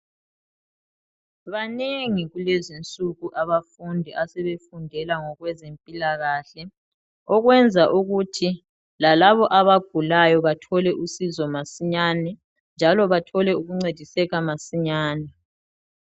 Banengi kulezinsuku abafundi asebefundela ngokwezempilakahle okwenza ukuthi lalabo abagulayo bathole usizo masinyane njalo bathole ukuncediseka masinyane.